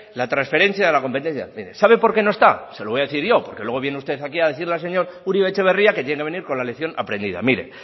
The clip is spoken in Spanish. la transferencia de la competencia mire sabe por qué no está se lo voy a decir yo por que luego viene usted aquí a decirle al señor uribe etxebarria que tiene que venir con la lección aprendida mire